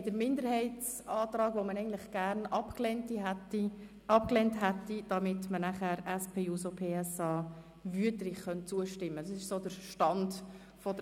Wir haben einen Minderheitsantrag, den man gern abgelehnt hätte, damit wir nachher über den Antrag der SPJUSO-PSA/Wüthrich abstimmen können.